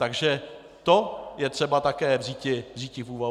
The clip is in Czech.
Takže to je třeba také vzíti v úvahu.